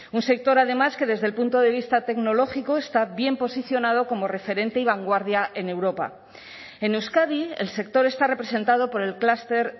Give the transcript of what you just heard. un sector además que desde el punto de vista tecnológico está bien posicionado como referente y vanguardia en europa en euskadi el sector está representado por el clúster